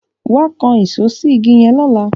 wá kán Èṣó sí ìgi yen lọla